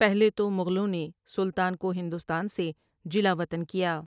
پہلے تو مغلوں نے سلطان کو ہندوستان سے جلاوطن کیا ۔